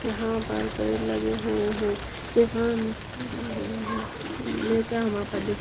यहाँ पर पेड़ लगे हुए हैं यहाँ नीचे --